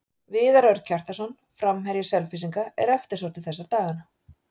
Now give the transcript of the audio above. Viðar Örn Kjartansson, framherji Selfyssinga, er eftirsóttur þessa dagana.